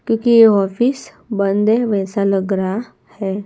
क्योंकि ये ऑफिस बंद है वैसा लग रहा हैं।